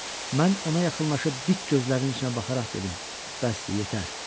Mən ona yaxınlaşıb dik gözlərinin içinə baxaraq dedim: Bəsdir, yetər.